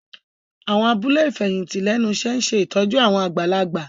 Àwọn abúlé ìfẹ̀yìntì lẹ́nu iṣẹ́ ń ṣe ìtọ́jú àwọn àgbàlagbà